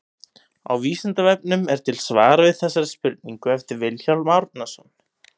Á Vísindavefnum er til svar við þessari spurningu eftir Vilhjálm Árnason.